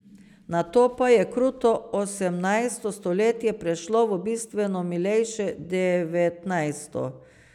Nato pa je kruto osemnajsto stoletje prešlo v bistveno milejše devetnajsto.